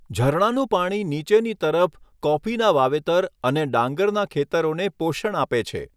ઝરણાનું પાણી નીચેની તરફ કોફીના વાવેતર અને ડાંગરના ખેતરોને પોષણ આપે છે.